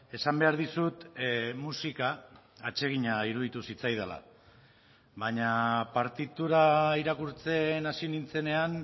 esan behar dizut musika atsegina iruditu zitzaidala baina partitura irakurtzen hasi nintzenean